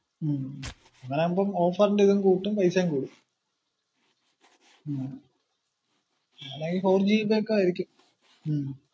ഉം അങ്ങനാമ്പോ offer ന്റെ ഇതും കൂട്ടും പൈസേം കൂടും ഉം അങ്ങനെയാവുമ്പ ഫൗർ ജി ഇതൊക്കെ ആയിരിക്കും.